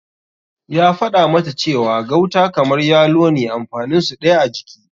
Ya faɗa mata cewa gauta kamar yalo ne amfanin su ɗaya a jiki.